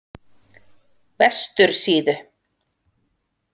Vestursíðu